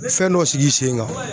Fɛn dɔ sigi i sen kan.